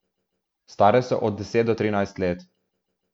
Stare so od deset do trinajst let.